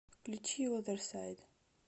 включи озерсайд